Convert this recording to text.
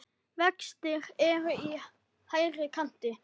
Vextir eru í hærri kanti.